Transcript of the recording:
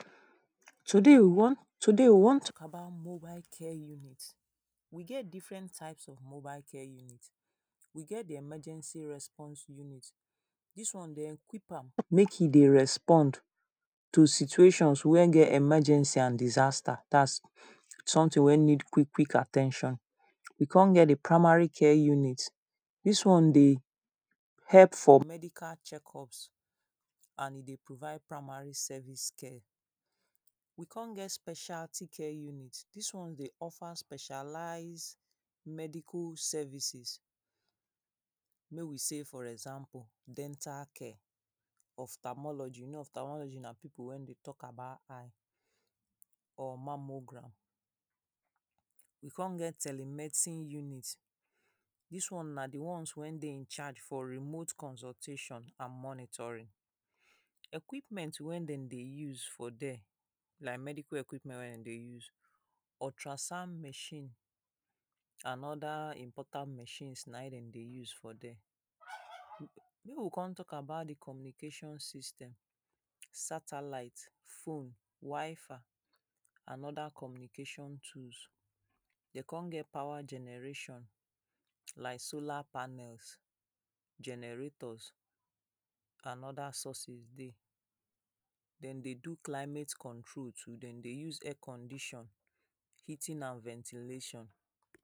Today we wan, today we wan talk about mobile care unit. We get different type of mobile care unit. We get the emergency response unit. Dis one de equip am make e dey respond to situations wey get emergency and disaster dat's something wey need quich quick at ten tion. We con get the primary health care unit. Dis one dey help for medical check-up and e dey provide primary service care. We con get specila t-care unit. Dis one dey offer specialize medical services. Make we sey for example dental care. of thermology. You thermology na people wey dey talk about eyes or mammogram. We con get tele medicine unit. Dis one na the ones wey dey incharge for remote consultation and monitoring. Equipmet wey dem dey use for dere. Like medical equipmet wey dem dey use. ultrasound machine and other important machine na im dem dey use for dere. Make we con talk about the communication system. Satellite, phone, wi fi and other communication tools. Dem con get power generation. Like solar panels, generators and other sources dey. Dem dey do climate control too. Dem dey use air-condition heating and ventilation.